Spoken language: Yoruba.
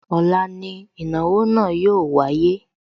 Ọ̀la ni ìnáwó náà yóò wáyé